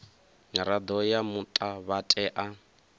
mirado ya muta vha tea